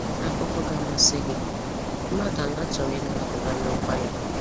Akụkọ ga amasị gị: Mmadụ anọ chọrọ ịnara Buhari ọkwa ya.